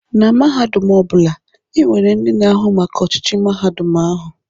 Na mahadum ọ bụla, e nwere ndị na-ahụ maka ọchịchị mahadum ahụ.